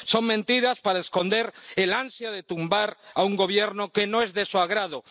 Son mentiras para esconder el ansia de tumbar a un gobierno que no es de su agrado.